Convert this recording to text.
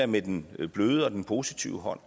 med den bløde og den positive hånd